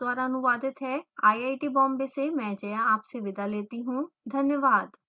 यह स्क्रिप्ट विकास द्वारा अनुवादित है आईआईटी बॉम्बे से मैं जया आपसे विदा लेती हूँ धन्यवाद